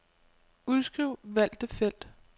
Udskriv valgte felt.